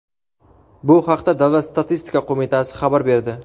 bu haqda Davlat statistika qo‘mitasi xabar berdi.